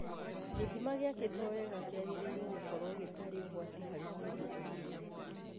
Gĩthima gĩakĩtwo wega kĩagĩrĩirwo gũkorũo gĩtarĩ ũgwati harĩ mũndũ o na ũrĩkũ.